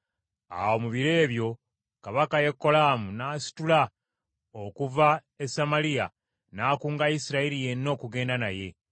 Awo mu biro ebyo kabaka Yekolaamu n’asitula okuva e Samaliya, n’akunga Isirayiri yenna okugenda naye.